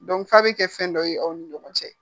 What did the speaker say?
Dɔn fa bɛ kɛ fɛn dɔ ye aw ni ɲɔgɔn cɛ